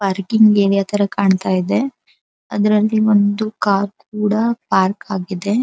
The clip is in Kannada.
ಪಾರ್ಕಿಂಗ್ ಏರಿಯಾ ತರ ಕಾಣತ್ತಾ ಇದೆ ಅದ್ರಲ್ಲಿ ಒಂದು ಕಾರು ಕೂಡ ಪಾರ್ಕ್ ಆಗಿದೆ.